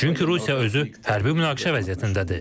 Çünki Rusiya özü hərbi münaqişə vəziyyətindədir.